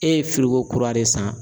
E ye kura de san